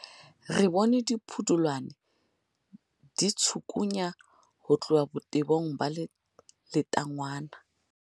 re bone dipudulwana di tshikgunya ho tloha botebong ba letangwana